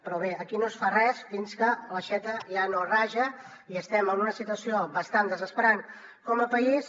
però bé aquí no es fa res fins que l’aixeta ja no raja i estem en una situació bastant desesperant com a país